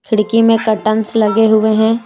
खिड़की में कर्टेन्स लगे हुए हैं।